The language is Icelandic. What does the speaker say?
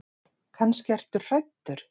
Kannski ertu hræddur.